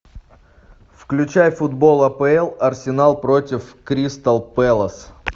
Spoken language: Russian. включай футбол апл арсенал против кристал пэлас